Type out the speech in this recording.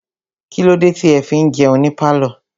Kílódé tí ẹ fi ń jẹun ní pálọ̀?